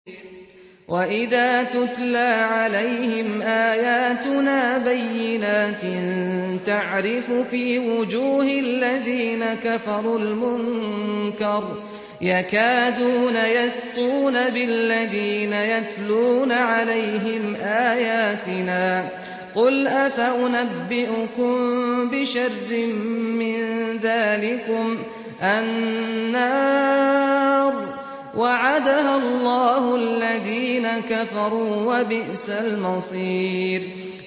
وَإِذَا تُتْلَىٰ عَلَيْهِمْ آيَاتُنَا بَيِّنَاتٍ تَعْرِفُ فِي وُجُوهِ الَّذِينَ كَفَرُوا الْمُنكَرَ ۖ يَكَادُونَ يَسْطُونَ بِالَّذِينَ يَتْلُونَ عَلَيْهِمْ آيَاتِنَا ۗ قُلْ أَفَأُنَبِّئُكُم بِشَرٍّ مِّن ذَٰلِكُمُ ۗ النَّارُ وَعَدَهَا اللَّهُ الَّذِينَ كَفَرُوا ۖ وَبِئْسَ الْمَصِيرُ